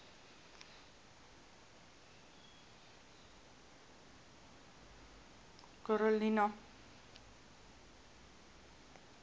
karolina